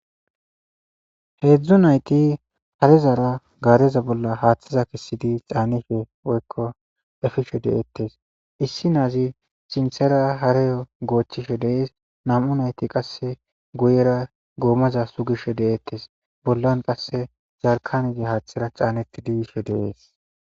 heedzdzu nayti harezara gaareza bolla haaththeza kessidi caanife woykko efishe deettes issi naazi sinthera hareyo goochchishe deees nam'u nayti qasse goyera goomaza sugishe deeettes bollan qasse zarkanezi haaththera caaneti diyishe de'es